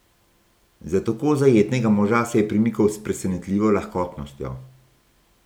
Za tako zajetnega moža se je premikal s presenetljivo lahkotnostjo.